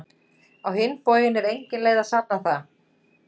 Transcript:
Á hinn bóginn er engin leið að sanna það.